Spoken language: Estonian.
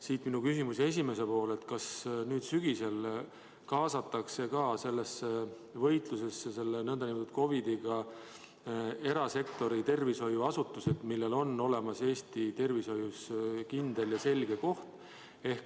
Siit minu küsimuse esimene pool: kas nüüd sügisel kaasatakse võitlusesse selle nn COVID-iga erasektori tervishoiuasutused, millel on olemas Eesti tervishoius kindel ja selge koht?